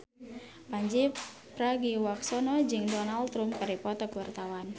Pandji Pragiwaksono jeung Donald Trump keur dipoto ku wartawan